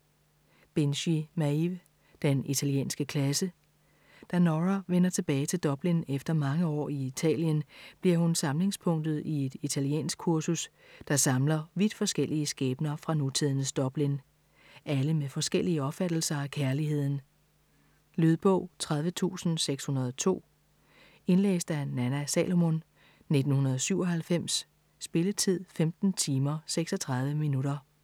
Binchy, Maeve: Den italienske klasse Da Nora vender tilbage til Dublin efter mange år i Italien, bliver hun samlingspunktet i et italienskkursus, der samler vidt forskellige skæbner fra nutidens Dublin. Alle med forskellige opfattelser af kærligheden ... Lydbog 30602 Indlæst af Nanna Salomon, 1997. Spilletid: 15 timer, 36 minutter.